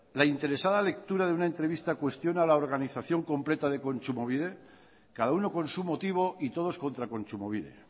la interesada lectura de una entrevista cuestiona la organización completa de kontsumobide cada uno con su motivo y todos contra kontsumobide